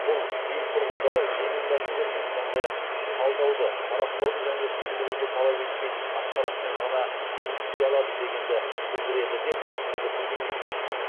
бұл ел тұрғындары жеңіл мәтіндермен сондай ақ талдауды сараптауды және түсіндіруді талап етпейтін ақпаратпен ғана жұмыс істей алады дегенді білдіреді деп түсіндірді министр